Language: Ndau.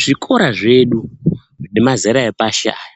Zvikora zvedu zvemazera epashi aya